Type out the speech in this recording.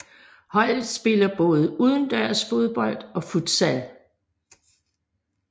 Holdet spiller både udendørs fodbold og futsal